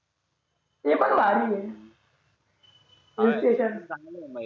ते पण भारी ये hill station